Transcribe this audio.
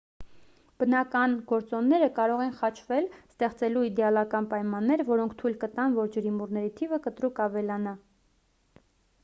բնական գործոնները կարող են խաչվել ստեղծելու իդեալական պայմաններ որոնք թույլ կտան որ ջրիմուռների թիվը կտրուկ ավելանա